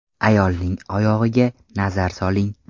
Ayolning oyog‘iga nazar soling.